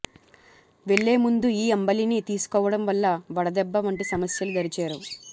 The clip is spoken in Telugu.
వెళ్లేముందు ఈ అంబలిని తీసుకోవడం వల్ల వడదెబ్బ వంటి సమస్యలు దరిచేరవు